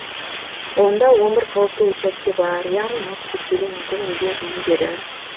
онда он бір қауіпті учаске бар яғни мұз кептелуі мүмкін өзен иіндері